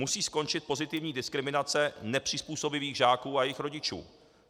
Musí skončit pozitivní diskriminace nepřizpůsobivých žáků a jejich rodičů.